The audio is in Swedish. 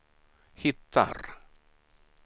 hittar